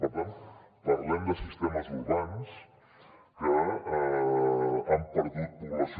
per tant parlem de sistemes urbans que han perdut població